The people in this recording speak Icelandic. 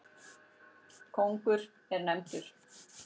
Kóngur er nefndur.